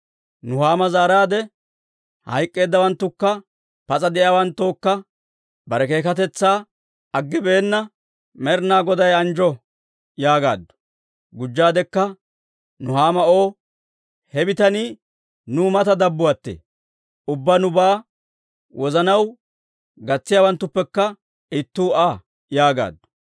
Nuhaama zaaraade, «Hayk'k'eeddawanttookka pas'a de'iyaawanttookka bare keekatetsaa aggibeenna Med'inaa Goday anjjo» yaagaaddu. Gujjaadekka Nuhaama O, «He bitanii nuu mata dabbuwaattee; ubbaa nubaa wozanaw gatsiyaawanttuppekka ittuu Aa» yaagaaddu.